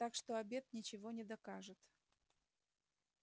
так что обед ничего не докажет